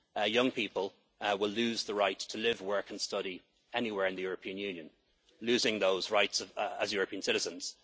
will be lost. Young people will lose the right to live, work and study anywhere in the European Union, losing those rights as European